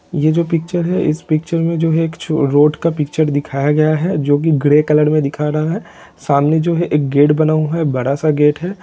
ये जो पिक्चर है इस पिक्चर मे जो है एक छो रोड का पिक्चर दीखाया गया है जो की ग्रे कलर मे दिखा रहा है सामने जो है एक गेट बना हुआ है एक बड़ा सा गेट है।